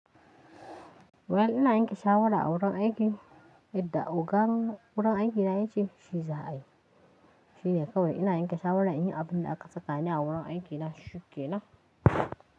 Well ina yanke shawara a wurin aiki? Yadda ogan wurin aikina, yace shi za a yi. Shi ne kawai ina yanke shawaran in yi abin da aka tsaka ni a wurin aikina shike na.